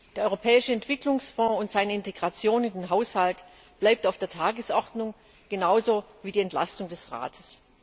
Der Europäische Entwicklungsfonds und seine Integration in den Haushalt bleiben auf der Tagesordnung genauso wie die Entlastung des Rates.